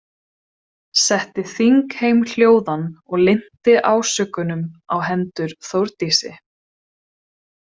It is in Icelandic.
Setti þingheim hljóðan og linnti ásökunum á hendur Þórdísi.